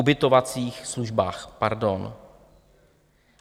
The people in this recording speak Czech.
Ubytovacích službách, pardon.